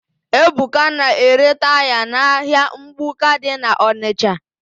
Ebuka na-ere taya n'ahịa mgbuka dị n'Ọnịsha.